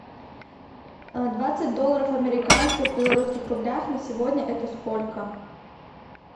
двадцать долларов американских в белорусских рублях на сегодня это сколько